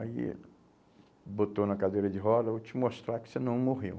Aí eh botou na cadeira de roda, vou te mostrar que você não morreu.